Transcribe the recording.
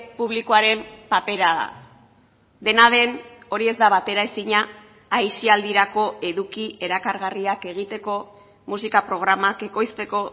publikoaren papera da dena den hori ez da bateraezina aisialdirako eduki erakargarriak egiteko musika programak ekoizteko